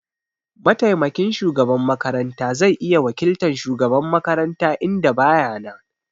Mataimakin shugaban makaranta zai iya wakiltan shugaban makaranta idan baya nan.